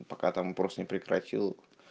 пока там просто не прекратил